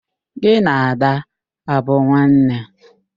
Gị na Ada abụ nwanne?